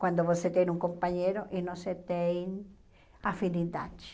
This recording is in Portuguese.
Quando você tem um companheiro e não se tem afinidade.